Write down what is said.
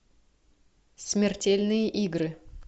смертельные игры